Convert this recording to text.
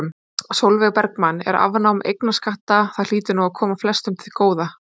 Sólveig Bergmann: En afnám eignarskatta, það hlýtur nú að koma flestum til góða?